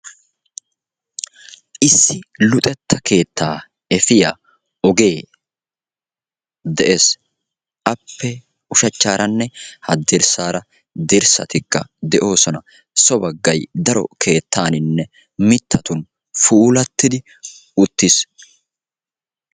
Issi luxetta keettaa efiya ogee de'ees. Appe ushachchaaranne haddirssaara dirssatikka de'oosona. baggay daro keettaaninne mittatun puulattida uttiis.